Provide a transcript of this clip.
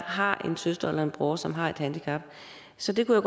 har en søster eller en bror som har et handicap så det kunne